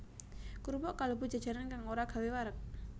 Krupuk kalebu jajanan kang ora gawé wareg